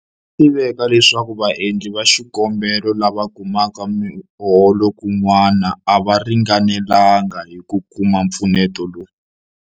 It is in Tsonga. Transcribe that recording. Swa tiveka leswaku vaendli va xikombelo lava kumaka miholo kun'wana a va ringanelanga hi ku kuma mpfuneto lowu.